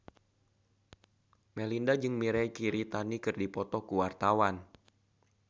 Melinda jeung Mirei Kiritani keur dipoto ku wartawan